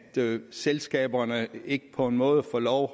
selskaberne ikke på en måde får lov